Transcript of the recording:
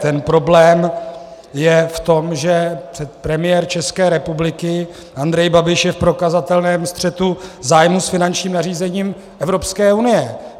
Ten problém je v tom, že premiér České republiky Andrej Babiš je v prokazatelném střetu zájmů s finančním nařízením Evropské unie.